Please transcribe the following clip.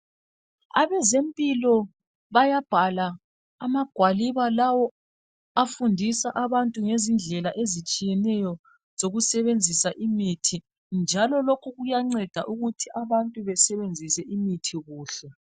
Abezempilo bayabhala amagwaliba afundisa abantu ngezindlela ezitshiyeneyo zokusebenzisa imithi, njalo lokhu kuyanceda ukuthi abantu besebenzise imithi kuhle.